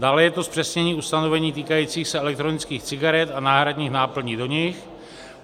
Dále je to zpřesnění ustanovení týkajících se elektronických cigaret a náhradních náplní do nich.